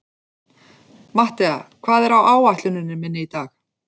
Mattea, hvað er á áætluninni minni í dag?